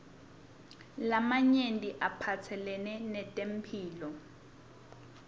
lamanye aphatselene netempihlo